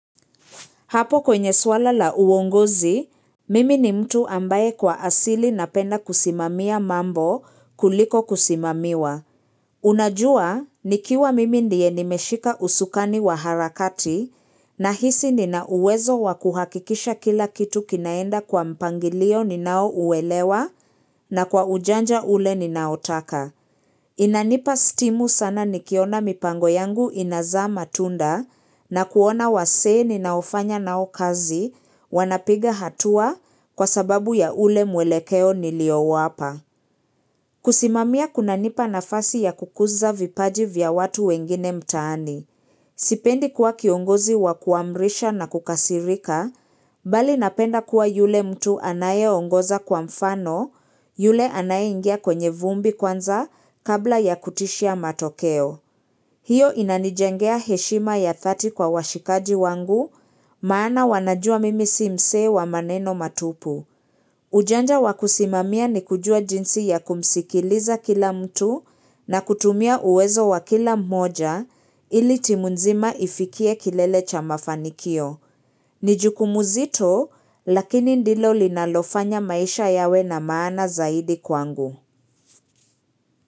Hapo kwenye swala la uongozi, mimi ni mtu ambaye kwa asili na penda kusimamia mambo kuliko kusimamiwa. Unajua, nikiwa mimi ndiye nimeshika usukani wa harakati na hisi nina uwezo wa kuhakikisha kila kitu kinaenda kwa mpangilio ninao uwelewa na kwa ujanja ule ninaotaka. Inanipa stimu sana nikiona mipango yangu inazaa matunda na kuona wasee ninaofanya nao kazi wanapiga hatua kwa sababu ya ule mwelekeo nilio wapa. Kusimamia kunanipa nafasi ya kukuza vipaji vya watu wengine mtaani. Sipendi kuwa kiongozi wa kuamrisha na kukasirika, bali napenda kuwa yule mtu anayeongoza kwa mfano, yule anayeingia kwenye vumbi kwanza kabla ya kutishia matokeo. Hiyo inanijengea heshima ya thati kwa washikaji wangu maana wanajua mimi si mse wa maneno matupu. Ujanja wa kusimamia ni kujua jinsi ya kumsikiliza kila mtu na kutumia uwezo wa kila mmoja ili timu nzima ifikie kilele cha mafanikio. Ni jukumu zito lakini ndilo linalofanya maisha yawe na maana zaidi kwangu.